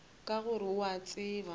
ka gore o a tseba